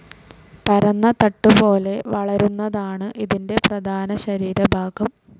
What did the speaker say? പരന്ന തട്ടുപോലെ വളരുന്നതാണ് ഇതിൻ്റെ പ്രധാന ശരീരഭാഗം.